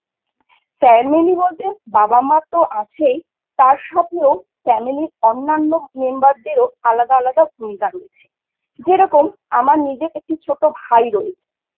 Family বলতে বাবা মা তো আছেই তার সাথেও Family অন্যান্য Member দেরও আলাদা আলাদা ভূমিকা রয়েছে যে রকম আমার নিজের একটি ছোট ভাই রয়েছে।